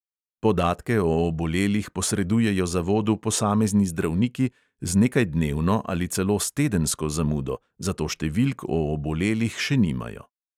Podatke o obolelih posredujejo zavodu posamezni zdravniki z nekajdnevno ali celo s tedensko zamudo, zato številk o obolelih še nimajo.